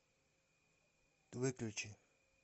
выключи